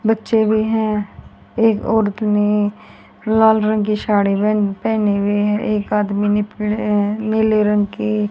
बच्चे भी हैं एक औरत ने लाल रंग की साड़ी भी पहनी हुई है एक आदमी ने पीले नीले रंग की --